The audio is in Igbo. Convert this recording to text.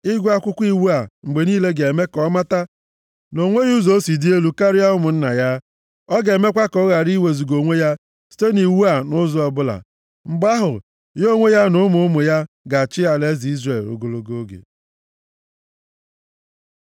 Ịgụ akwụkwọ iwu a mgbe niile ga-eme ka ọ mata na o nweghị ụzọ o si dị elu karịa ụmụnna ya. Ọ ga-emekwa ka ọ ghara iwezuga onwe ya site nʼiwu a nʼụzọ ọbụla. Mgbe ahụ, ya onwe ya, na ụmụ ụmụ ya ga-achị alaeze Izrel ogologo oge.